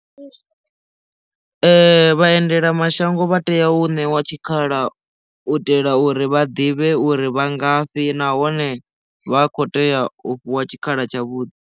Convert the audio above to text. Vha endela mashango vha tea u ṋewa tshikhala u itela uri vha ḓivhe uri vha ngafhi nahone vha kho tea u fhiwa tshikhala tsha vhuḓi.